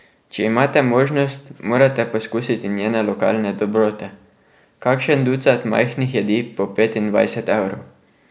Če imate možnost, morate poskusiti njene lokalne dobrote, kakšen ducat majhnih jedi po petindvajset evrov.